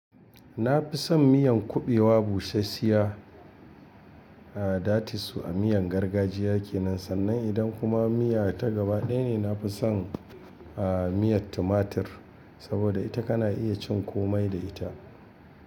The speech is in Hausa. Na fi son miyan kubewa bushassiya, a datisu a miyan gargajiya kenan. Sannan idan kuma miya ta gaba ɗaya ne, na fi son a miyar tumatir saboda ita ka na iya cin komai da ita.